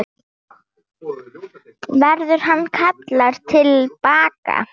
Verður hann kallaður til baka?